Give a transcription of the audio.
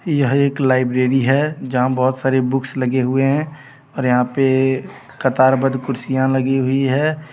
यह एक लाइब्रेरी है जहां बहुत सारे बुक्स लगे हुए है और यहां पे कतार बद कुर्सियां लगे हुई है.